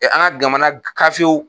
An ka jamana gafew